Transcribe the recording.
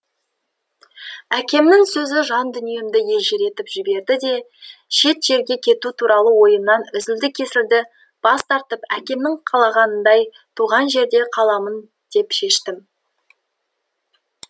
әкемнің сөзі жан дүниемді елжіретіп жіберді де шет жерге кету туралы ойымнан үзілді кесілді бас тартып әкемнің қалағанындай туған жерде қаламын деп шештім